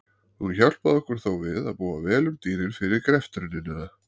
Hún hjálpaði okkur þó við að búa vel um dýrin fyrir greftrunina.